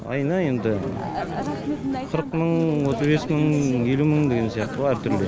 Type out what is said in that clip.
айына енді қырық мың отыз бес мың елу мың деген сияқты ғой әртүрлі